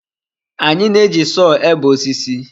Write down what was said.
Anyị na-eji sọọ ebe osisi.